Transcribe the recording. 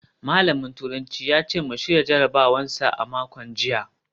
Malamin turanci ya ce mu shirya jarabawar sa a makon jiya